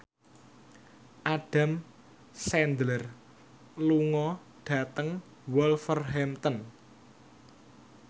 Adam Sandler lunga dhateng Wolverhampton